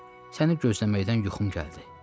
Səni gözləməkdən yuxum gəldi.